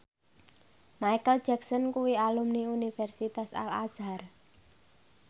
Micheal Jackson kuwi alumni Universitas Al Azhar